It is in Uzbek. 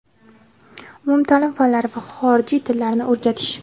umumtaʼlim fanlari va xorijiy tillarni o‘rgatish;.